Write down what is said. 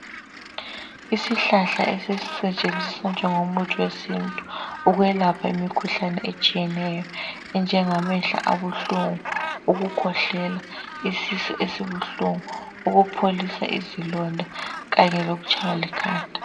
Isihlahla esisetshenziswa njengomuthi wesintu ukwelapha imkhuhlane etshiyeneyo enjengamehlo abuhlungu, ukukhwehlela , isisu esibuhlungu, ukupholisa izilonda kanye lokutshaywa likhanda.